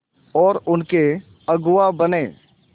और उनके अगुआ बने